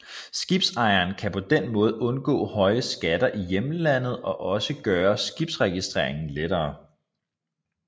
Skibsejeren kan på den måde undgå høje skatter i hjemlandet og også gøre skibsregistreringen lettere